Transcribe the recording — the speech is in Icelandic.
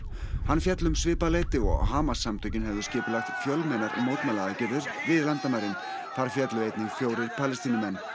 hann féll um svipað leyti og Hamas samtökin höfðu skipulagt fjölmennar mótmælaaðgerðir við landamærin þar féllu einnig fjórir Palestínumenn